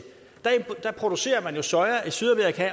og producerer man jo soja i sydamerika og